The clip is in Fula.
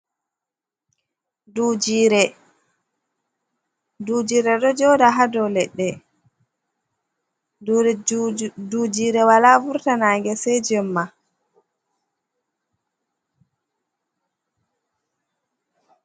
Duujiire, duujiire ɗo jooɗa ha dow leɗɗe, duujiire walaa vurta naange se jemma.